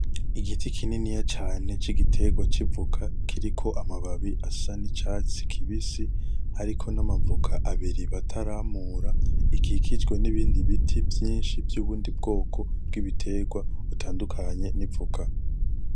Igiti kininiya cane c'igiterwa citwa ivoka kiriko amababi asa n'icatsi kibisi hariko n'amavoka abiri bataramura, gikikijwe n'ibiti vyinshi vy'ubundi bwoko bw'ibiterwa butandukanye n'ivoka.